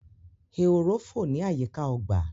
ehoro fọ ní àyíká ọgbà.